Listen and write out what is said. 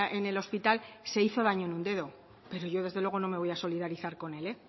en el hospital se hizo daño en un dedo pero yo desde luego no me voy a solidarizar con él